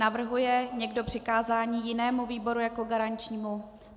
Navrhuje někdo přikázání jinému výboru jako garančnímu?